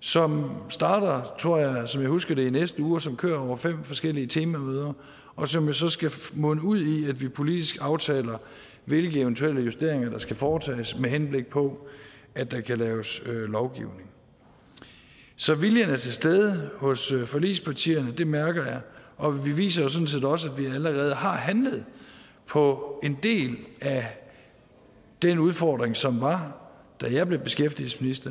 som starter tror jeg som jeg husker det i næste uge og som kører over fem forskellige temamøder og som jo så skal munde ud i at vi politisk aftaler hvilke eventuelle justeringer der skal foretages med henblik på at der kan laves lovgivning så viljen er til stede hos forligspartierne det mærker jeg og vi viser jo sådan set også at vi allerede har handlet på en del af den udfordring som var da jeg blev beskæftigelsesminister